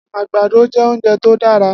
Agbàdó jè óunjé tó dàrá